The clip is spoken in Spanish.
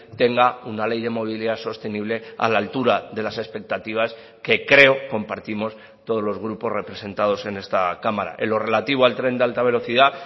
tenga una ley de movilidad sostenible a la altura de las expectativas que creo compartimos todos los grupos representados en esta cámara en lo relativo al tren de alta velocidad